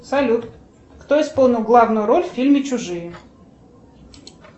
салют кто исполнил главную роль в фильме чужие